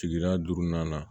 Sigida duurunan na